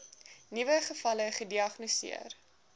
nuwe gevalle gediagnoseer